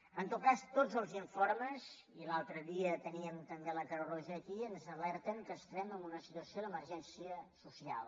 en tot cas tots els informes i l’altre dia teníem també la creu roja aquí ens alerten que estem en una situació d’emergència social